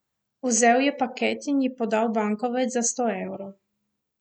Vzel je paket in ji podal bankovec za sto evrov.